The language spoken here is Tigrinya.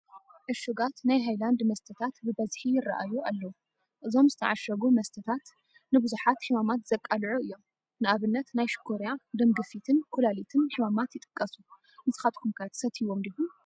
ዕሹጋት ናይ ሃይላንድ መስተታት ብበዝሒ ይራኣዩ ኣለው፡፡ እዞም ዝተዓሸጉ መስተታት ንብዙሓት ሕማማት ዘቃልዑ እዮም፡፡ ንኣብነት ናይ ሽኮርያ፣ ደም ግፊትን ኮላሊትን ሕማማት ይጥቀሱ፡፡ ንስኻትኩም ከ ትሰትዩዎም ዲኹም?